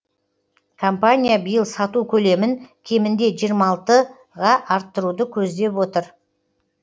компания биыл сату көлемін кемінде жиырма алты арттыруды көздеп отыр